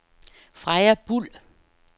Freja Buhl